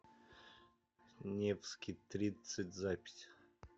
невский тридцать запись